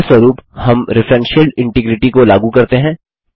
फलस्वरूप हम referential integrity को लागू करते हैं